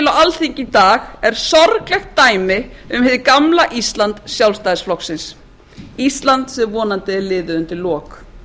alþingi í dag er sorglegt dæmi um hið gamla ísland sjálfstæðisflokksins íslands sem vonandi er liðið undir lok